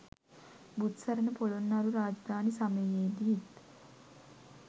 බුත්සරණ පොළොන්නරු රාජධානි සමයේදීත්